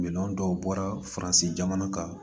Minɛn dɔw bɔra faransi jamana kan